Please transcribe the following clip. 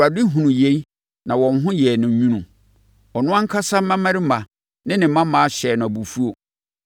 Awurade hunuu yei na wɔn ho yɛɛ no nwunu. Ɔno ankasa mmammarima ne ne mmammaa hyɛɛ no abufuo.